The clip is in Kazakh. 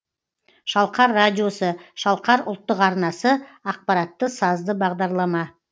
шалқар радиосы шалқар ұлттық арнасы ақпаратты сазды бағдарлама